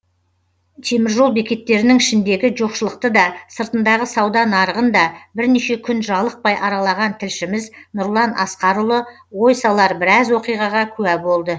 теміржол бекеттерінің ішіндегі жоқшылықты да сыртындағы сауда нарығын да бірнеше күн жалықпай аралаған тілшіміз нұрлан асқарұлы ой салар біраз оқиғаға куә болды